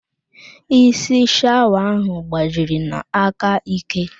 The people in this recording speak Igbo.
Isi shawa ahụ gbajiri n'aka ike